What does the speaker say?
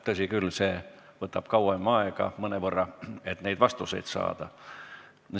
Tõsi, vastuste saamine võtab üsna kaua aega.